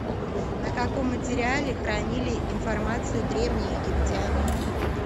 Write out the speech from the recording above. на каком материале хранили информацию древние египтяне